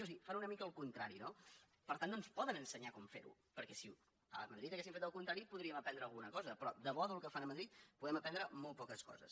o sigui fan una mica el contrari no per tant no ens poden ensenyar com fer ho perquè si a madrid haguessin fet el contrari podríem aprendre alguna cosa però de bo del que fan a madrid podem aprendre molt poques coses